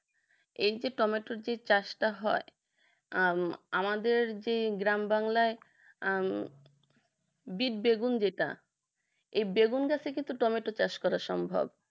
এই যে টমেটোর যে চাষটা হয় আহ আমাদের যে গ্রাম বাংলার আহ বিড বেগুন যেটা এ বেগুন চাষে কিন্তু টমেটো চাষ করা সম্ভব